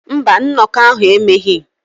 Mba, nnọkọ ahụ emeghị.